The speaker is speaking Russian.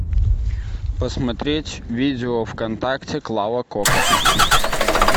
посмотреть видео вконтакте клава кока